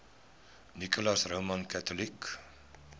nicholas roman catholic